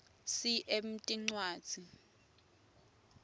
cm incwadzi